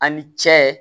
A' ni cɛ